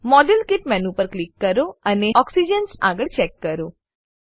model kit menu પર click કરો અને ઓક્સિજન આગળ ચેક કરો